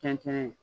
Tɛntɛn